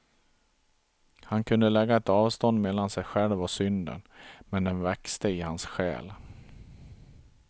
Han kunde lägga ett avstånd mellan sig själv och synden, men den växte i hans själ.